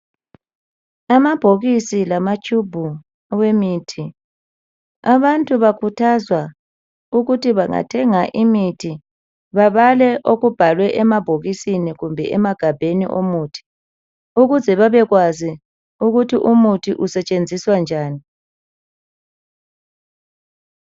Amabhokisi lamatshubhu awemithi. Abantu bakhuthazwa ukuthi bangathenga imithi babale okubhalwe emabhokisini kumbe emagabheni omuthi, ukuze babekwazi ukuthi umuthi usetshenziswa njani.